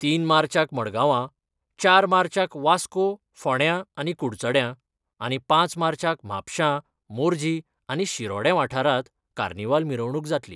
तीन मार्चाक मडगांवां, चार मार्चाक वास्को, फोंड्यां आनी कुडचड्यां आनी पांच मार्चाक म्हापशा मोरजी आनी शिरोडें वाठारांत कार्नीवाल मिरवणूक जातली.